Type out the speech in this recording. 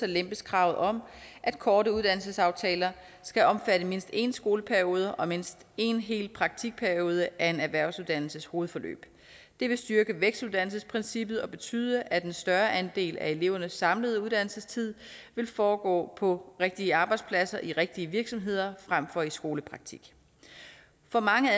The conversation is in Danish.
lempes kravet om at korte uddannelsesaftaler skal omfatte mindst en skoleperiode og mindst en hel praktikperiode af en erhvervsuddannelses hovedforløb det vil styrke vækstuddannelsesprincippet og betyde at en større andel af elevernes samlede uddannelsestid vil foregå på rigtige arbejdspladser i rigtige virksomheder frem for i skolepraktik for mange